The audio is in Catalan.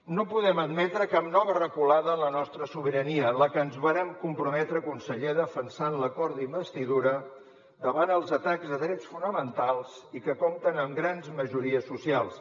no podem admetre cap nova reculada en la nostra sobirania la que ens vàrem comprometre conseller a defensar en l’acord d’investidura davant dels atacs de drets fonamentals i que compta amb grans majories socials